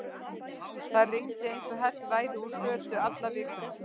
Það rigndi eins og hellt væri úr fötu alla vikuna.